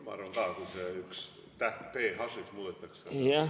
Ma arvan ka, et kui üks täht, t h‑ks muudetakse, siis pole probleemi.